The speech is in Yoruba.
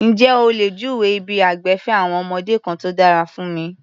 Ǹjé o lè júwèé ibi ìgbafẹ́ àwọn ọmọdé kan tó dára fún mi?